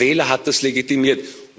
Der Wähler hat das legitimiert.